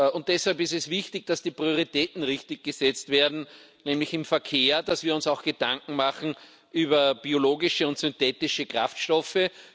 Und deshalb ist es wichtig, dass die Prioritäten richtig gesetzt werden nämlich im Verkehr, dass wir uns auch Gedanken machen über biologische und synthetische Kraftstoffe.